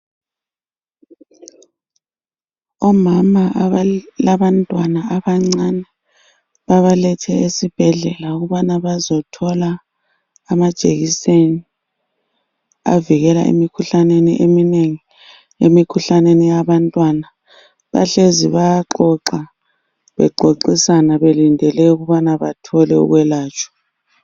Omama abalantwana abancane babalethe esibhedlela ukubana bazithola amajekiseni avikela emikhuhlaneni eminengi. Emikhuhlaneni yabantwana. Bahlezi bayaxoxa bexoxisana belindele ukubana bathole ukwelatshwa.